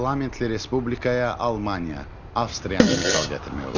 Parlamentli respublikaya Almaniya, Avstriyanı misal gətirmək olar.